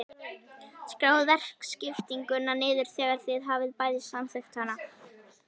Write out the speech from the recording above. Skráið verkaskiptinguna niður þegar þið hafið bæði samþykkt hana.